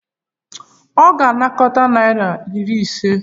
Ọ ga-anakọta naira iri ise?